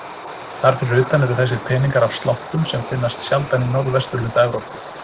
Þar fyrir utan eru þessir peningar af sláttum sem finnast sjaldan í norðvesturhluta Evrópu.